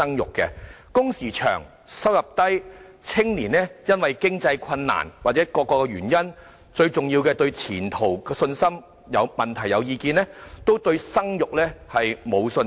由於工時長、收入低，加上年青人面對經濟困難或各種原因，最重要的是對前途沒有信心，因而對生育沒有信心。